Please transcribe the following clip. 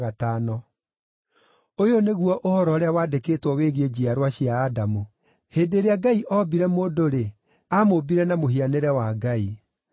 Ũyũ nĩguo ũhoro ũrĩa wandĩkĩtwo wĩgiĩ njiarwa cia Adamu. Hĩndĩ ĩrĩa Ngai oombire mũndũ-rĩ, amũũmbire na mũhianĩre wa Ngai.